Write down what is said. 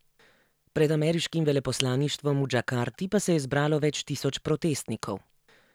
Pred ameriškim veleposlaništvom v Džakarti pa se je zbralo več tisoč protestnikov.